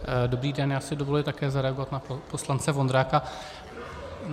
Dobrý den, já si dovoluji také zareagovat na poslance Vondráka.